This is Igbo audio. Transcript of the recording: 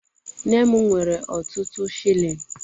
Nne m nwere ọtụtụ shilling